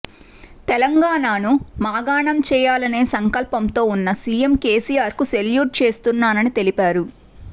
తెలంగాణను మాగాణం చేయాలనే సంకల్పంతో ఉన్న సీఎం కేసీఆర్కు సెల్యూట్ చేస్తున్నానని తెలిపారు